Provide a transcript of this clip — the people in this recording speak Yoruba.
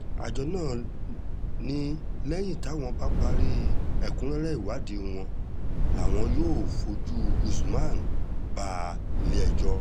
àjọ náà ni lẹ́yìn táwọn bá parí ẹ̀kúnrẹ́rẹ́ ìwádìí làwọn yóò fojú usman bá ilé-ẹjọ́